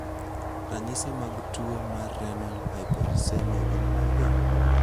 Ranyisi mag tuo mar Renal hypouricemia gin mage?